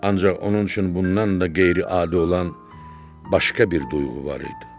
Ancaq onun üçün bundan da qeyri-adi olan başqa bir duyğu var idi.